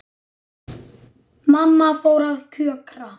Mamma fór að kjökra.